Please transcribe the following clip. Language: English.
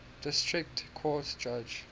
district court judge